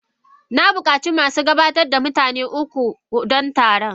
na bukaci masu gabatar da mutane uku don taron.